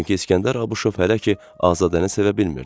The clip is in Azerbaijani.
Çünki İsgəndər Abışov hələ ki Azadəni sevə bilmirdi.